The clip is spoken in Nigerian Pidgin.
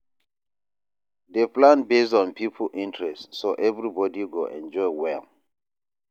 Dey plan based on people interest so everybody go enjoy well